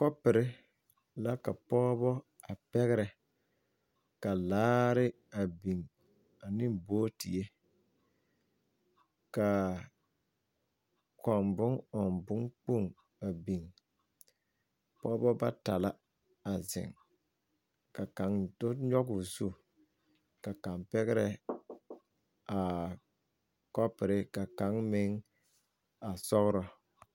Kɔpurre la ka pɔɔbɔ a pɛgrɛ ka laare a biŋ neŋ booterre kaa kɔŋ bon ɔŋ bon kpoŋ a biŋ pɔɔbɔ bata la a zeŋ ka kaŋ do nyogoo zu ka kaŋ pɛgrɛ aa kɔpurre ka kaŋ meŋ a sɔgrɔ.